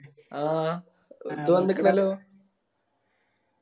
ആ വണിക്കിണല്ലോ